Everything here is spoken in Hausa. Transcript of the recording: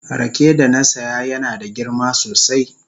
Rake da na saya yana da girma sosai.